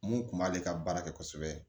Mun kun b'ale ka baara kɛ kosɛbɛ